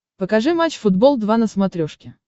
покажи матч футбол два на смотрешке